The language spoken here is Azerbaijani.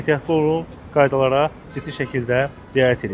Ehtiyatlı olun, qaydalara ciddi şəkildə riayət edin.